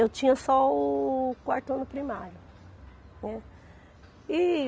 Eu tinha só o quarto ano primário, né. E